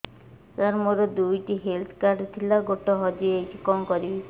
ସାର ମୋର ଦୁଇ ଟି ହେଲ୍ଥ କାର୍ଡ ଥିଲା ଗୋଟେ ହଜିଯାଇଛି କଣ କରିବି